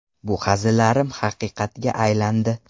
Bu hazillarim haqiqatga aylandi”.